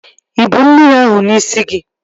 Ịbu mmiri ahụ n'isi gị?